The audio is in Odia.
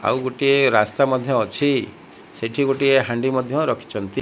ଆଉ ଗୋଟିଏ ରାସ୍ତା ମଧ୍ୟ ଅଛି ସେଠି ଗୋଟିଏ ହାଣ୍ଡି ମଧ୍ୟ ରଖିଛନ୍ତି।